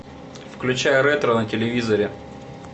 включай ретро на телевизоре